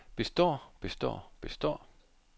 består består består